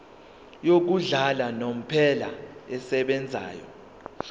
yokuhlala unomphela esebenzayo